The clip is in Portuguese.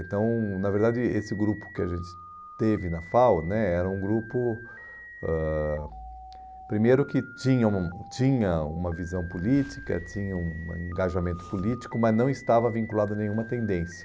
Então, na verdade, esse grupo que a gente teve na FAU né era um grupo, ãh primeiro, que tinha um tinha uma visão política, tinha um engajamento político, mas não estava vinculado a nenhuma tendência.